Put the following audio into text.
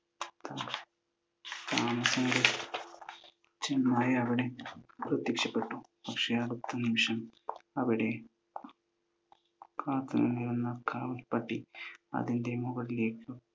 താമസിയാതെ ചെന്നായ് അവിടെ പ്രത്യക്ഷപ്പെട്ടു. പക്ഷെ അടുത്ത നിമിഷം അവിടെ കാത്തു നിന്നിരുന്ന കാവൽ പട്ടി അതിൻ്റെ മുകളിലേക്ക്